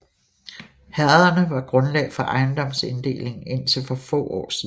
Herrederne var grundlag for ejendomsinddelingen indtil for få år siden